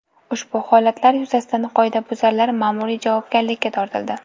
Ushbu holatlar yuzasidan qoidabuzarlar ma’muriy javobgarlikka tortildi.